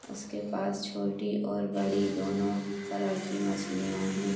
उसके पास छोटी और बड़ी दोनों तरह की मछलियां है।